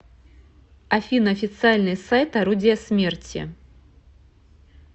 афина официальный сайт орудия смерти